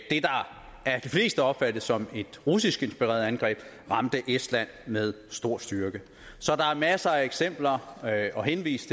de fleste opfattes som et russisk inspireret angreb ramte estland med stor styrke så der er masser af eksempler at henvise